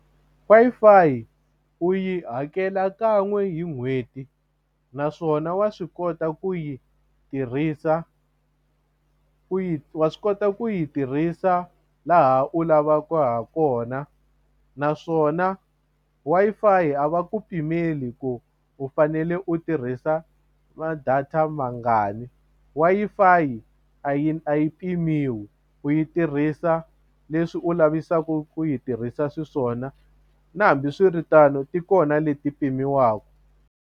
Wi-Fi u yi hakela kan'we hi n'hweti naswona wa swi kota ku yi tirhisa ku yi wa swi kota ku yi tirhisa laha u lavaka hakona naswona Wi-Fi a va ku pimeli ku u fanele u tirhisa ma-data mangani Wi-Fi a yi a yi pimiwi u yi tirhisa leswi u lavisaku ku yi tirhisa xiswona na hambiswiritano ti kona leti pimiwaku.